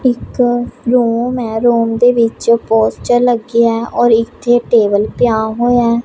ਇੱਕ ਰੂਮ ਏ ਰੂਮ ਦੇ ਵਿੱਚ ਪੋਸਟਰ ਲੱਗਿਆ ਔਰ ਇੱਥੇ ਟੇਬਲ ਪਿਆ ਹੋਇਆ।